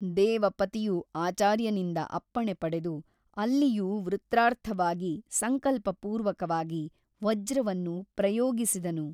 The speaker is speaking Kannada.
ದೇವಪತಿಯು ಆಚಾರ್ಯನಿಂದ ಅಪ್ಪಣೆ ಪಡೆದು ಅಲ್ಲಿಯೂ ವೃತ್ರಾರ್ಥವಾಗಿ ಸಂಕಲ್ಪಪೂರ್ವಕವಾಗಿ ವಜ್ರವನ್ನು ಪ್ರಯೋಗಿಸಿದನು.